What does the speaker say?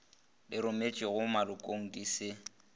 le rometšwego malokong di se